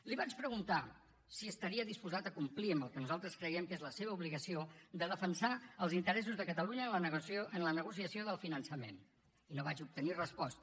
li vaig preguntar si estaria disposat a complir amb el que nosaltres creiem que és la seva obligació de defensar els interessos de catalunya en la negociació del finançament i no vaig obtenir resposta